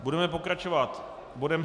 Budeme pokračovat bodem